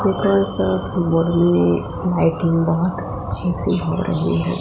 में लाइटिंग बहोत अच्छी सी हो रही है।